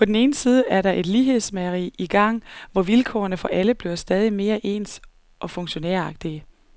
På den ene side er der et lighedsmageri i gang, hvor vilkårene for alle bliver stadig mere ens og funktionæragtige.